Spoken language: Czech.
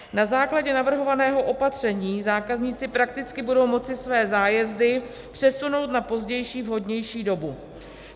Na základě navrhovaného opatření zákazníci prakticky budou moci své zájezdy přesunout na pozdější, vhodnější dobu.